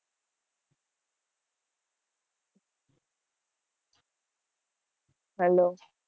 Hello.